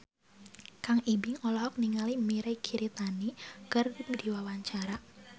Kang Ibing olohok ningali Mirei Kiritani keur diwawancara